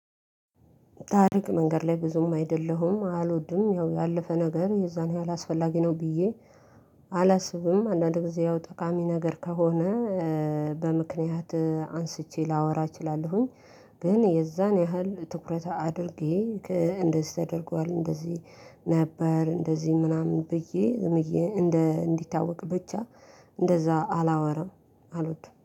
ታሪክ መንገር ላይ ብዙም አይደለሁም አልወድም ያው ያለፈ ነገር የዛን ያህል አስፈላጊ ነው። ብዬ አላስብም አንዳንድ ጊዜ ያው ጠቃሚ ነገር ከሆነ በምክንያት አንስቼ ላወራ እችላለሁኝ። ግን የዛን ያህል ትኩረት አድርጌ እንደዚህ ተደርጓል እንደዚህ ነበር። እንደዚህ ምናምን ብዬ እንደ እንዲታወቅ ብቻ እንደዛ አላወራም አሉት